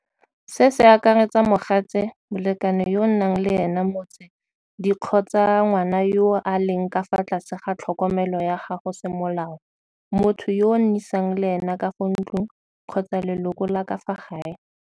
Se se akaretsa mogatse, molekane yo nnang le ene mots di kgotsa ngwana yo a leng ka fa tlase ga tlhokomelo ya gago semolao, motho yo o nnisang le ene ka fa ntlong kgotsa leloko la ka fa gae.